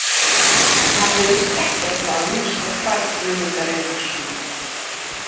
Hann virðist ekkert hafa minnst á hvarf Guðmundar Einarssonar.